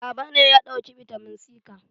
Baba ne ya ɗauki bitamin C ka